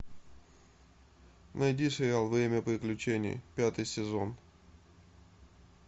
найди сериал время приключений пятый сезон